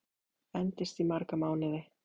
Endist í marga mánuði.